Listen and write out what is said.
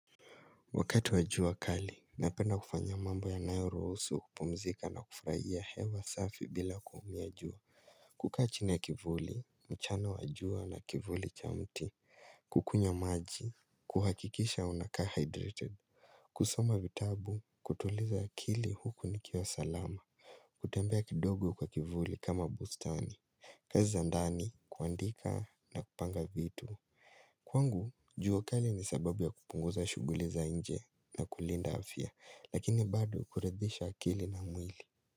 Wakati wajua kali, napenda kufanya mambo yanayoruhusu kupumzika na kufurahia hewa safi bila kuumia jua kukaa chini ya kivuli, mchana wajua na kivuli cha mti, kukunywa maji, kuhakikisha unakaa hydrated kusoma vitabu, kutuliza akili huku nikiwa salama kutembea kidogo kwa kivuli kama bustani kazi za ndani, kuandika na kupanga vitu Kwangu jua kali ni sababu ya kupunguza shuguli za nje na kulinda afya lakini bado kuridhisha akili na mwili.